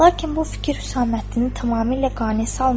Lakin bu fikir Hüsaməddini tamamilə qane salmırdı.